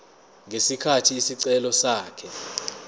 ngesikhathi isicelo sakhe